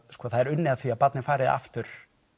það er unnið að því að barnið fari aftur